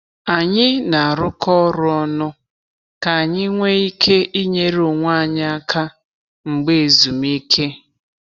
Anyị na-arụkọ ọrụ ọnụ ka anyị nwee ike inyere onwe anyị aka mgbe ezumike.